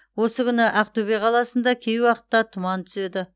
осы күні ақтөбе қаласында кей уақытта тұман түседі